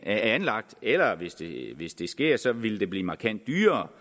anlagt eller hvis det sker så ville det blive markant dyrere